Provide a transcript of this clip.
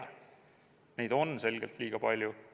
Neid püügiõigusi on selgelt liiga palju.